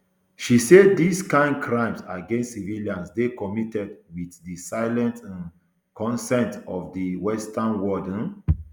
she say dis kain crimes against civilians dey committed wit di silent um consent of di western world um